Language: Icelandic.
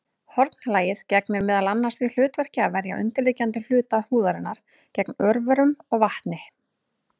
Hornlagið gegnir meðal annars því hlutverki að verja undirliggjandi hluta húðarinnar gegn örverum og vatni.